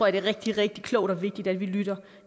at det er rigtig rigtig klogt og vigtigt at vi lytter